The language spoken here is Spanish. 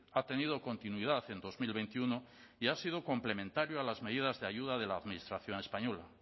ha tenido continuidad en dos mil veintiuno y ha sido complementario a las medidas de ayuda de la administración española